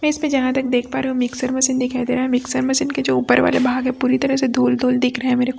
मैं इस पे यहां तक देख पा रही हूं मिक्सर मशीन दिखाई दे रहा है मिक्सर मशीन के जो ऊपर वाले भाग है पूरी तरह से धूल धूल दिख रहा है मेरे को।